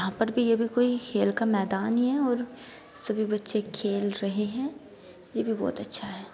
यहाँ पर भी ये भी कोई खेल का मैदान ही है और सभी बच्चे खेल रहे हैं ये भी बहुत अच्छा है।